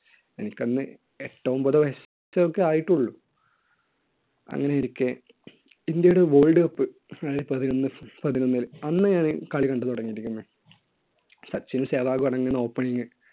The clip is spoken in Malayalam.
എനിക്ക് അന്ന് എട്ടോ ഒൻപതോ വയസ് ഒക്കെയേ ആയിട്ടുള്ളൂ. അങ്ങനെയിരിക്കെ ഇൻഡ്യയുടെ world cup പതിനൊന്ന്~ രണ്ടായിരത്തി പതിനൊന്നിൽ. അന്ന് ഞാൻ കളി കണ്ടു തുടങ്ങിയിരിക്കുന്നു. സച്ചിനും സേവാഗും ആണ് അന്ന് opening.